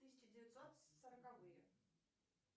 тысяча девятьсот сороковые